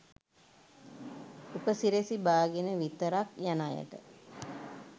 උපැසිරැසි බාගෙන විතරක් යන අයට